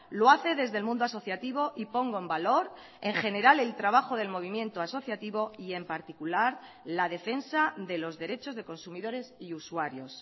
lo hace desde el mundo asociativo y pongo en valor en general el trabajo del movimiento asociativo y en particular la defensa de los derechos de consumidores y usuarios